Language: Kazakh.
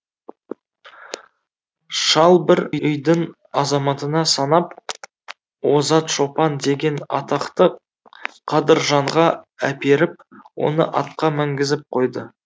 шал бір үйдің азаматына санап озат шопан деген атақты қадыржанға әперіп оны атқа мінгізіп қойды